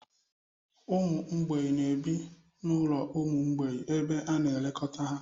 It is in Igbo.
Ụmụ mgbei na-ebi n'ụlọ ụmụ mgbei ebe a na-elekọta ha